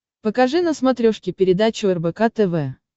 покажи на смотрешке передачу рбк тв